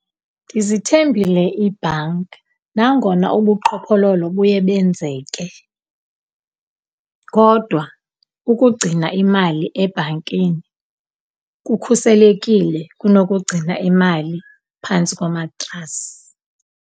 Ndizithembile iibhanki nangona ubuqhophololo buye benzeke, kodwa ukugcina imali ebhankini kukhuselekile kunokugcina imali phantsi komatrasi.